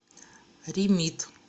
ремит